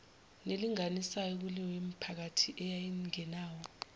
nelinganisayo kuleyomiphakathi eyayingenawo